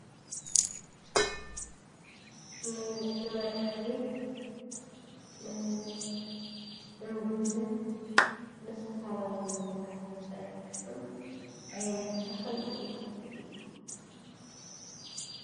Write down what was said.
ንመድሓኒት ንምግብነት ንዝተፈላለዩ ነገራት ዝጠቅም ዓይነት ተክሊ እንታይ ይበሃል?